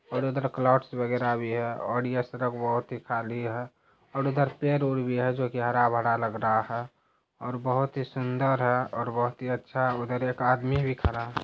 और उधर क्लॉट्स वगेरा भी है और यह सरक बहुत ही खाली है और इधर पेड़ वेड भी है जो की हरा भरा लग रहा है और बोहत ही सुंदर और बोहोत ही अच्छा उधर एक आदमी खरा है ।